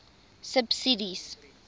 subsidies